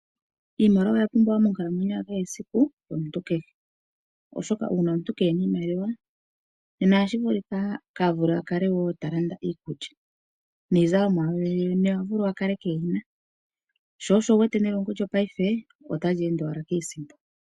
Iimaliwa oya pumbiwa monkalamwenyo yakehe siku yomuntu kehe, oshoka uuna omuntu keena iimaliwa ohashi vulika kaakale talanda wo iikulya niizalomwa ohavulu okukala keena, sho osho wuwete kutya newi otali ende owala kiisimpo.